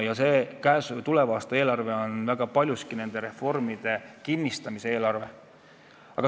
Tuleva aasta eelarve on väga paljuski nende reformide kinnistamise eelarve.